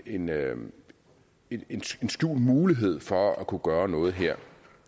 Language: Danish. inde med en skjult mulighed for at kunne gøre noget her